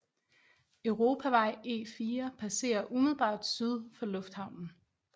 Europavej E4 passerer umiddelbart syd for lufthavnen